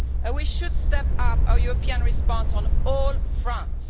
We should step up our European response on all fronts.